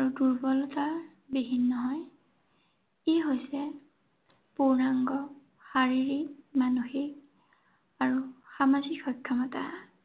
আৰু দুৰ্বলতাবিহীন নহয়। ই হৈছে পূৰ্ণাঙ্গ শাৰীৰিক, মানসিক আৰু সামাজিক সক্ষমতা।